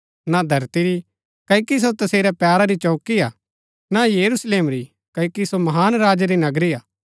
न धरती री क्ओकि सो तसेरै पैरा री चौंकी हा न यरूशलेम री क्ओकि सो महान राजै री नगरी हा